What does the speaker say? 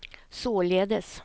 således